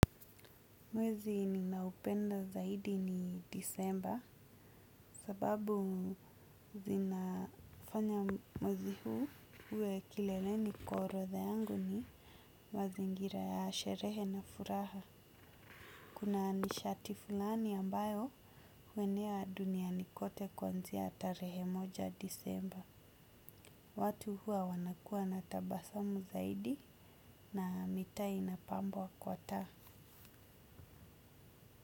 Mwezi ninaupenda zaidi ni disemba sababu zinafanya mwezi huu uwe kileleni kwa orodha yangu ni mazingira ya sherehe na furaha. Kuna nishati fulani ambayo huenea duniani kote kuanzia tarehe moja ya disemba. Watu huwa wanakuwa na tabasamu zaidi na mitaa inapambwa kwa taa.